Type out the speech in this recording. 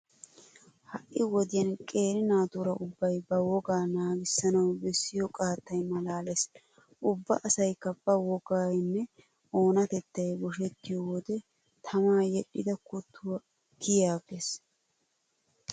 Ha"i wodiyan qeera naatuura ubbay ba wogaa naagissanawu bessiyo qaattay maalaalees. ubba asaykka ba wogaynne oonatettay boshettiyo wode tamaa yedhdhida kuttuwa kiyiiggees!